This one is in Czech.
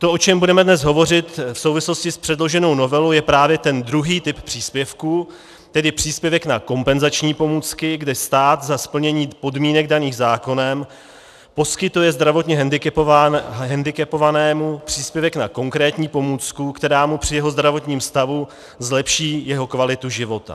To, o čem budeme dnes hovořit v souvislosti s předloženou novelou, je právě ten druhý typ příspěvku, tedy příspěvek na kompenzační pomůcky, kde stát za splnění podmínek daných zákonem poskytuje zdravotně hendikepovanému příspěvek na konkrétní pomůcku, která mu při jeho zdravotním stavu zlepší jeho kvalitu života.